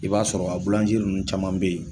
I b'a sɔrɔ a bulanzeri i ninnu caman bɛ yen